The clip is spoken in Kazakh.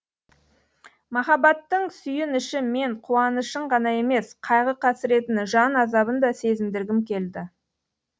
махаббаттың сүйініші мен қуанышын ғана емес қайғы қасіретін жан азабын да сезіндіргім келді